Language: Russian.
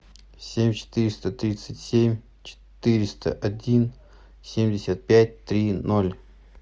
семь четыреста тридцать семь четыреста один семьдесят пять три ноль